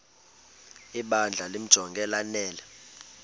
ibandla limjonge lanele